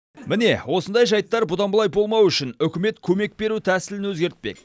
міне осындай жайттар бұдан былай болмауы үшін үкімет көмек беру тәсілін өзгертпек